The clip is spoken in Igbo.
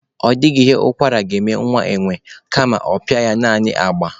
Ọ dịghị ihe ụkwara ga-eme nwa enwe, kama ọ pịa ya naanị agba.